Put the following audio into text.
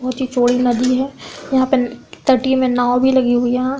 बहुत ही चौड़ी नदी है। यहाँ पे तट्टीय में नांव भी लगी हुई है यहाँ --